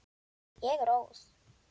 Ég er óð.